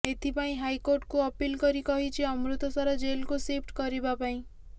ଏଥିପାଇଁ ହାଇକୋର୍ଟରକୁ ଅପିଲ କରି କହିଛି ଅମୃତସର ଜେଲକୁ ସିଫ୍ଟ କରିବା ପାଇଁ